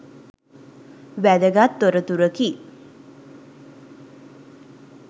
වැදගත් තොරතුරකි